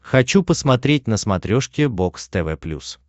хочу посмотреть на смотрешке бокс тв плюс